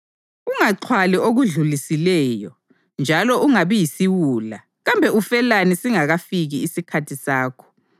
Ungaxhwali okudlulisileyo, njalo ungabi yisiwula kambe ufelani singakafiki isikhathi sakho?